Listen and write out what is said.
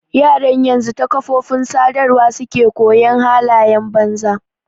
Yaran yanzu ta kafofin sadarwa suke koyon halayen banza.